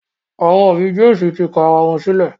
Àwọn òbí James tí kò àrà wón sílè.